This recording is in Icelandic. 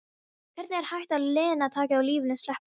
Hvernig er hægt að lina takið á lífinu, sleppa því?